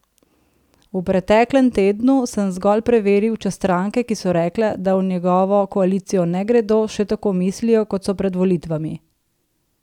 V preteklem tednu sem zgolj preveril, če stranke, ki so rekle, da v njegovo koalicijo ne gredo, še tako mislijo, kot so pred volitvami.